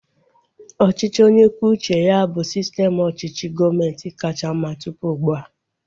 Ọchịchị onye kwuo uche ya bụ sistem ọchịchị gọọmenti kacha mma tụpụ ugbua